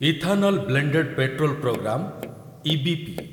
ethanol blended petrol programme EBP